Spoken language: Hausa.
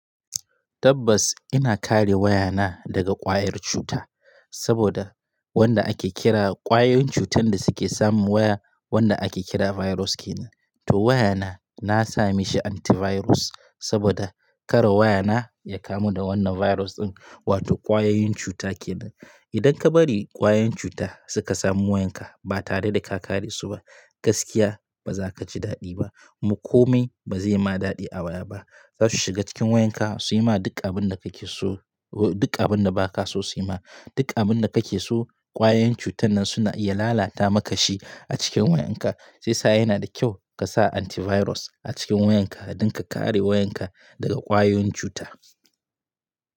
Tabbas ina kare wayana daga ƙwayar cuta saboda wanda ake kira ƙwayoyin cutan da suke samun waya, wanda ake kira virus kenan. To wayana na sami shi antivirus saboda kare wayana ya kamu da wannan virus ɗin wato ƙwayoyin cuta kenan. Idan ka bari ƙwayoyin cuta suka samu wayanka ba tare da ka kare su ba, gaskiya ba za ka ji daɗi ba. Kuma komai ba zai ma daɗi a waya ba. Za su shiga cikin wayanka su yi ma duk abin da kake so, duk abin da ba ka so su yi ma, duk abin da kake so ƙwayoyin cutan nan suna iya lalata maka shi a cikin wayanka. Sai sa yana da kyau ka sa antivirus a cikin wayanka don ka kare wayanka daga ƙwayoyin cuta.